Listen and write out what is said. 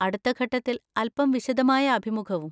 അടുത്ത ഘട്ടത്തിൽ അൽപ്പം വിശദമായ അഭിമുഖവും.